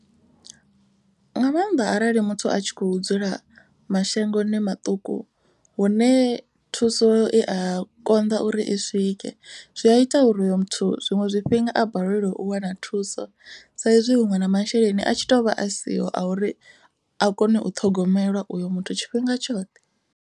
Nga maanḓa arali muthu a tshi kho dzula mashangoni maṱuku. Hune thuso i a konḓa uri i swike zwi a ita ya uri hoyo muthu zwiṅwe zwifhinga a balelwe u wana thuso. Saizwi huṅwe na masheleni a tshi to vha a siho a uri a kone u ṱhogomelwa uyo muthu tshifhinga tshoṱhe.